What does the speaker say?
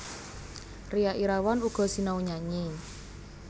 Ria Irawan uga sinau nyanyi